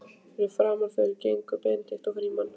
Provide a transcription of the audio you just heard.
Fyrir framan þau gengu Benedikt og Frímann.